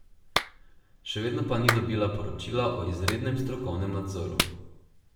Še vedno pa ni dobila poročila o izrednem strokovnem nadzoru.